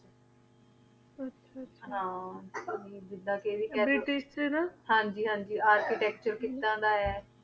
ਆਹ ਆਹ ਹਨ ਹਨ ਜੀ ਹਨ ਜੀ architecture ਕਿਦਾਂ ਦਾ ਆਯ